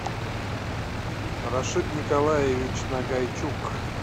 рашид николаевич нагайчук